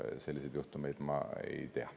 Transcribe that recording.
Selliseid juhtumeid ma ei tea.